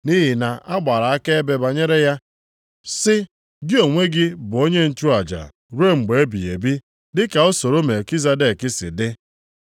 Nʼihi na-agbara akaebe banyere ya, sị, “Gị onwe gị, bụ onye nchụaja ruo mgbe ebighị ebi, dị ka usoro Melkizedek si dị.” + 7:17 \+xt Abụ 110:4\+xt*